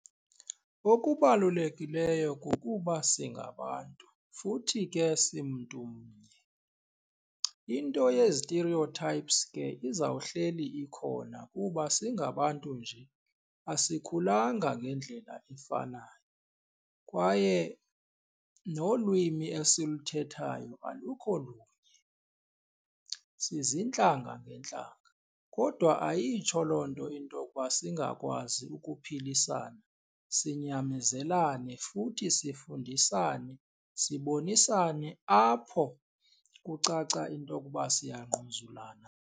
Okubalulekileyo kukuba singabantu futhi ke simntumnye, into ye-stereotypes ke izawuhleli ikhona kuba singabantu nje asikhulanga ngendlela efanayo kwaye nolwimi esiluthethayo alukho lunye, siziintlanga ngeentlanga. Kodwa ayitsho loo nto into okuba singakwazi ukuphilisana, sinyamezelane futhi sifundisane, sibonisane apho kucaca into okuba siyangquzulana.